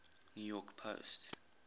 new york post